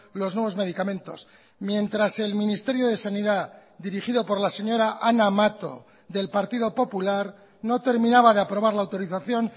los nuevos medicamentos mientras el ministerio de sanidad dirigido por la señora ana mato del partido popular no terminaba de aprobar la autorización